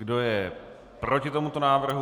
Kdo je proti tomuto návrhu?